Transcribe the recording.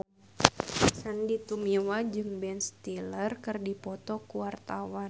Sandy Tumiwa jeung Ben Stiller keur dipoto ku wartawan